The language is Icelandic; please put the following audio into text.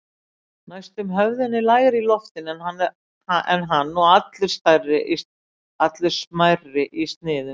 Næstum höfðinu lægri í loftinu en hann og allur smærri í sniðum.